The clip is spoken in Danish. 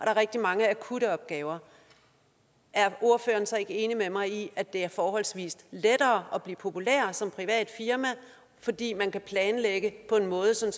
er rigtig mange akutte opgaver er ordføreren så ikke enig med mig i at det er forholdsvis lettere at blive populær som privat firma fordi man kan planlægge på en måde så